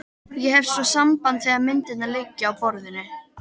Ég hef svo samband þegar myndirnar liggja á borðinu.